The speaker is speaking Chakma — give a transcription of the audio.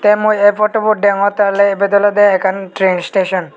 te mui e fotobot degongtte oley ibed olodey ekkan tren isteson.